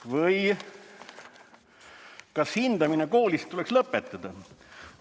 Või: "Kas hindamine koolis tuleks lõpetada?